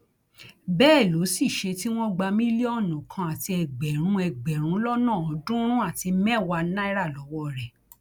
bẹẹ ló sì ṣe tí wọn gba mílíọnù kan àti ẹgbẹrún ẹgbẹrún lọnà ọọdúnrún àti mẹwàá náírà lọwọ rẹ